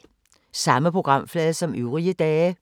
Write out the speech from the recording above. Samme programflade som øvrige dage